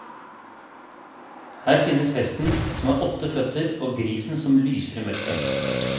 Her finnes hesten som har åtte føtter og grisen som lyser i mørket.